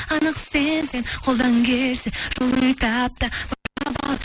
анық сенсең қолдан келсе жолын тап та баурап ал